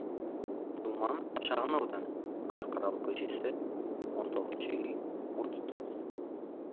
думан шағын ауданы қарқаралы көшесі он тоғызыншы үй отыз тоғыз